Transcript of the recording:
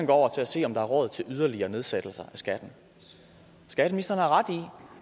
går over til at se om der er råd til yderligere nedsættelser af skatten skatteministeren har ret i